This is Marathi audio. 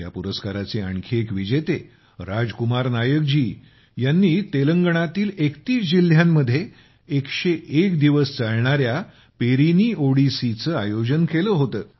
या पुरस्काराचे आणखी एक विजेते राज कुमार नायक जी यांनी तेलंगणातील 31 जिल्ह्यांमध्ये 101 दिवस चालणाऱ्या पेरीनी ओडिसीचे आयोजन केले होते